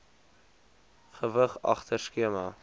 gewig agter skema